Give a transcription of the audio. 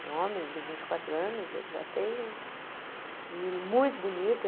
Um homem de vinte e quatro anos, ele já tem um menino muito bonito.